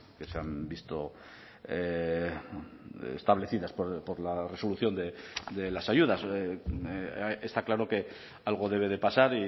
que se han visto establecidas por la resolución de las ayudas está claro que algo debe de pasar